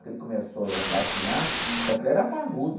Que ele começou já a engatinhar, só que ele era parrudo.